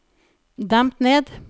demp ned